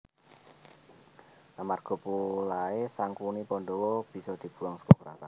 Amarga polahé Sangkuni Pandhawa bisa dibuwang seka kraton